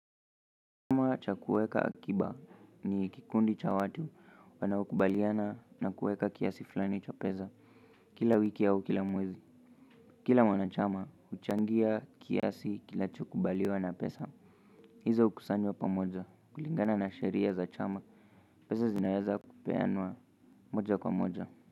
Cha kuweka akiba ni kikundi cha watu wanaokubaliana na kuweka kiasi fulani cha pesa kila wiki au kila mwezi kila mwanachama huchangia kiasi kinachokubaliwa na pesa hizo hukusanywa pamoja kulingana na sheria za chama Pesa zinaeza kupeanwa moja kwa moja.